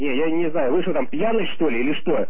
не я не знаю вы что там пьяный что ли или что